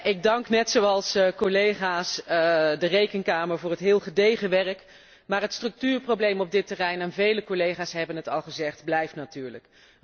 Ik dank, net zoals collega's, de Rekenkamer voor het heel gedegen werk maar het structuurprobleem op dit terrein en vele collega's hebben het al gezegd blijft natuurlijk.